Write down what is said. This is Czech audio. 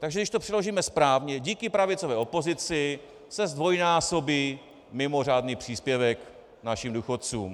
Takže když to přeložíme správně, díky pravicové opozici se zdvojnásobí mimořádný příspěvek našim důchodcům.